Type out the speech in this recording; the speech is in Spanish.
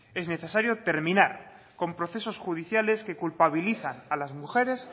es necesario terminar con procesos judiciales que culpabilizan a las mujeres